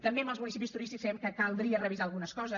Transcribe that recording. també amb els municipis turístics creiem que caldria revisar algunes coses